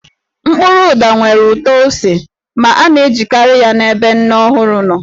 Mkpụrụ ụda nwere ụtọ ose ma a na-ejikarị ya n'ebe nne ọhụrụ nọ.